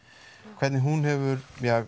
hvernig hún hefur